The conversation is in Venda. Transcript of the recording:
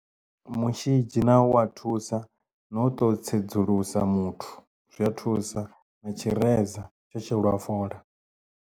Mushidzhi na wo wa thusa na u to tsedzuluso muthu zwi a thusa na tshireza tsho shelwa fola.